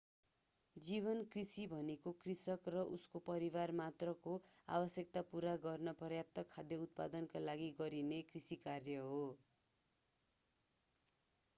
जीवन कृषि भनेको कृषक र उसको परिवार मात्रको आवश्यकता पूरा गर्न पर्याप्त खाद्य उत्पादनका लागि गरिने कृषि कार्य हो